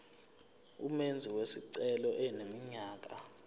umenzi wesicelo eneminyaka